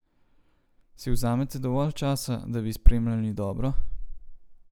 Si vzamete dovolj časa, da bi sprejemali dobro?